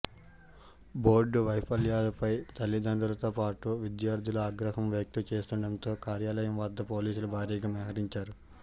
board వైఫల్యాలపై తల్లిదండ్రులతో పాటు విద్యార్ధులు ఆగ్రహం వ్యక్తం చేస్తుండటంతో కార్యాలయం వద్ద పోలీసులు భారీగా మోహరించారు